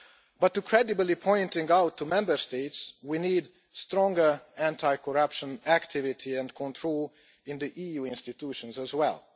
But to credibly pointing out to Member States, we need stronger anti corruption activity and control in the EU institutions as well.